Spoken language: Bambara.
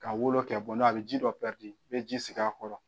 Ka wolo kɛ n' a bɛ ji dɔ i bɛ ji sigi a kɔrɔ.